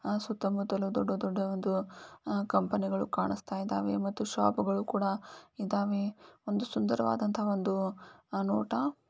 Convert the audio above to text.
ಸುತ್ತಮುತ್ತಲು ದೊಡ್ಡ ದೊಡ್ಡಒಂದು ಕಂಪನಿ ಗಳು ಕಾಣಸ್ತಾ ಇದಾವೆ ಮತ್ತು ಶಾಪಗಳು ಕೂಡ ಇದಾವೆ ಸುಂದರವಾದಂತಹ ಒಂದು ನೋಟ.